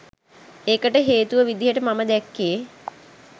ඒකට හේතුව විදිහට මම දැක්කේ